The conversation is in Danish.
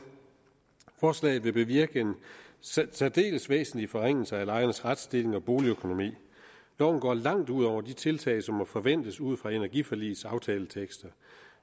forslaget vil bevirke en særdeles væsentlig forringelse af lejernes retsstilling og boligøkonomi loven går langt ud over de tiltag som må forventes ud fra energiforligets aftaletekster